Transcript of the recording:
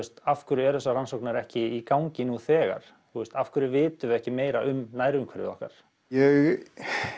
af hverju eru þessar rannsóknir ekki í gangi nú þegar af hverju vitum við ekki meira um nærumhverfið okkar ég